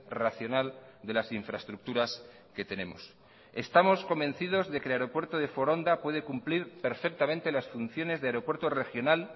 racional de las infraestructuras que tenemos estamos convencidos de que el aeropuerto de foronda puede cumplir perfectamente las funciones de aeropuerto regional